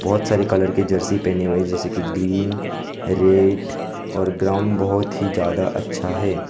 बहोत सारी कलर की जर्सी पहनी हुई जैसे कि ग्रीन रेड और ग्राउंड बहुत ही ज्यादा अच्छा है।